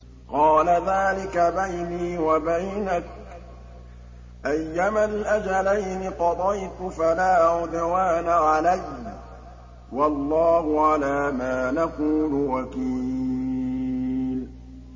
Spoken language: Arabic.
قَالَ ذَٰلِكَ بَيْنِي وَبَيْنَكَ ۖ أَيَّمَا الْأَجَلَيْنِ قَضَيْتُ فَلَا عُدْوَانَ عَلَيَّ ۖ وَاللَّهُ عَلَىٰ مَا نَقُولُ وَكِيلٌ